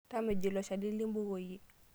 Tamejo ilo shani limbukoyie.